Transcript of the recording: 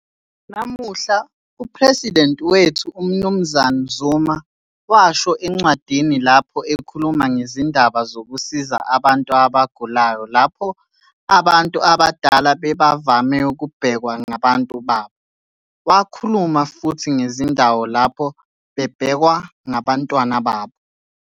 Namuhla, uPhresidenti wethu, umnz Zuma, washo encwadini lapho ekhuluma ngezindaba zokusiza abantu abagulayo lapho abantu abadala bebavama ukubhekwa ngabantu babo. Wakhuluma futhi ngezindawo lapho bebhekwa ngabantwana babo.